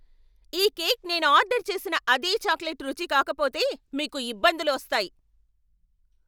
ఈ కేక్ నేను ఆర్డర్ చేసిన అదే చాక్లెట్ రుచి కాకపోతే, మీకు ఇబ్బందులు వస్తాయి!